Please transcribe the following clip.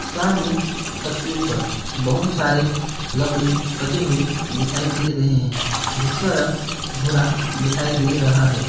सामने तस्वीर पर बहुत सारे लकड़ी कटे हुए दिखाई दे रहे हैं जिसका रंग भूरा दिखाई दे रहा है।